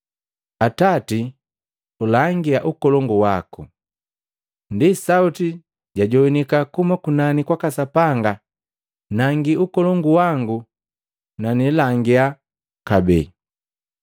Atati, ulangia ukolongu waku.” Ndi sauti jajogwanika kuhuma kunani kwaka Sapanga, “Nangi ukolongu wangu na nilangia kabee.”